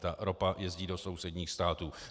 Ta ropa jezdí do sousedních států.